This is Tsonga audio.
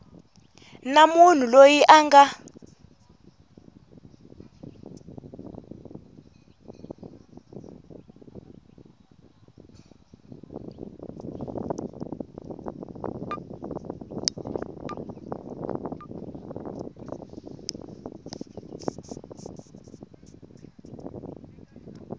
na munhu loyi a nga